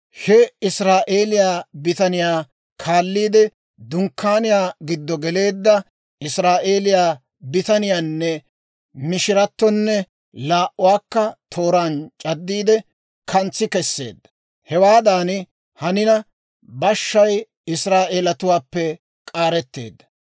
he Israa'eeliyaa bitaniyaa kaalliide, dunkkaaniyaa giddo geleedda. Israa'eeliyaa bitaniyaanne mishiratonne laa"uwaakka tooraan c'addiide, kantsi kesseedda. Hewaadan hanina, boshay Israa'eelatuwaappe k'aaretteedda;